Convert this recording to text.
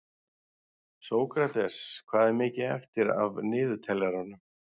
Sókrates, hvað er mikið eftir af niðurteljaranum?